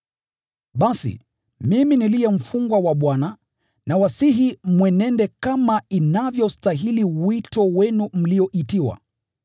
Basi, mimi niliye mfungwa wa Bwana, nawasihi mwenende kama inavyostahili wito wenu mlioitiwa.